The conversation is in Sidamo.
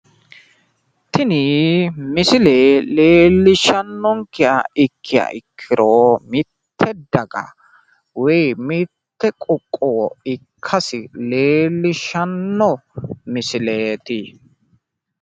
Tini misile leellishshannonkeha ikkiha ikkiro mitte daga woyi mitto qoqqowo ikkasi leellishshanno misileeti.